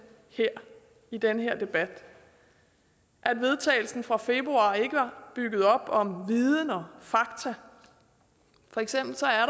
i den her debat at vedtagelsen fra februar ikke var bygget op om viden og fakta for eksempel